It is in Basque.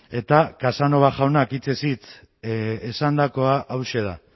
eta casanova jaunak hitzez hitz esandakoa hauxe da